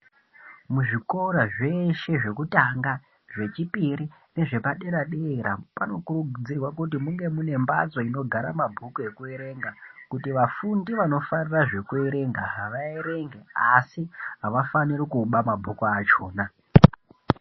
Muzvikora zveshe zvekutanga, zvechipiri nezvepadera-dera panokurudzirwa kuti munge mune mbatso inogara mabhuku ekuerenga kuti vafundi vanofarira zvekuerenga vaerenge. Asi havafaniri kuba mabhuku achona.